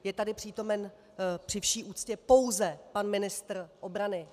Je tady přítomen, při vší úctě, pouze pan ministr obrany.